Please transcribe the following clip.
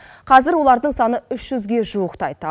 қазір олардың саны үш жүзге жуықтайды